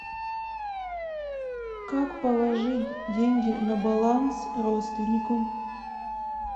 как положить деньги на баланс родственнику